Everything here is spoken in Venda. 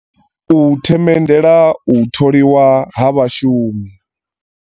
U themendela u tholiwa ha vhashumi.